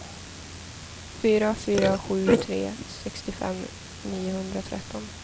fyra fyra sju tre sextiofem niohundratretton